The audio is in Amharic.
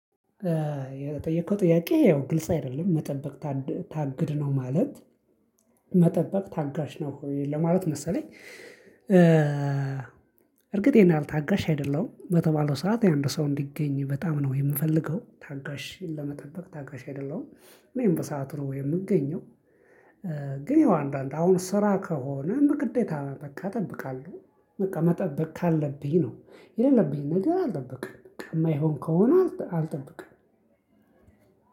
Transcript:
የጠየከው ጥያቄ ያው ግልጽ አይደለም መጠበቅ ታግድ ነው ማለት መጠበቅ ታጋሽ ነው ለማለት መሰለኝ። እርግጥ ይሄን ያህል ታጋሽ አይደለሁም በተባለው ሰዓት አንድ ሰው እንዲገኝ በጣም ነው ምፈልገው ታጋሽ ለመጠበቅ ታጋሽ አይደለሁም እኔም በሰአቱ ነው የምገኘው። ግን ይሄው አንዳንድ አሁን ስራ ከሆነም ግዴታ መጠበቅ በቃ እጠብቃለሁ። በቃ መጠበቅ ካለብኝ ነው የሌለብኝን ነገር አልጠብቅም የማይሆን ከሆነ አልጠብቅም።